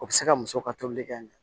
O bɛ se ka muso ka tolili kɛ